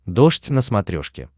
дождь на смотрешке